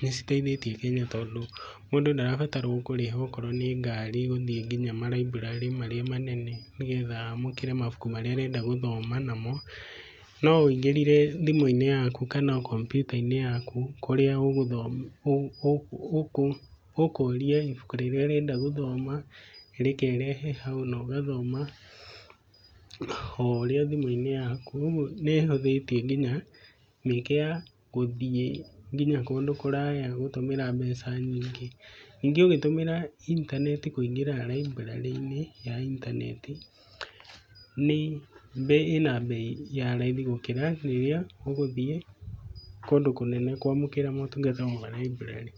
nĩciteithĩtie mũno tondũ, mũndũ ndarabatara kũrĩha okorwo nĩngari gũthiĩ nginya maraburarĩ marĩa manene nĩgetha amũkĩre mabuku marĩa arenda gũthoma namo. Nowĩingĩrire thimũinĩ yaku kana komyuta-inĩ yaku kũrĩa ũgũthoma ũkũria ibuku rĩrĩa ũrenda gũthoma, rĩkerehe hau nogathoma oũrĩa thimũ-inĩ yaku ũguo nĩhũthĩtie nginya mĩeke ya gũthiĩ nginya kũndũ kũraya gũtũmĩra mbeca nyingĩ. Nyingĩ ũgĩtũmĩra intanenti kũingĩra raiburarĩ-inĩ ya intanenti, nĩ bei, ĩba bei ya raithi gũkĩra rĩrĩa ũrathiĩ kũndũ kũnene kwamũkĩra motungata maraiburarĩ.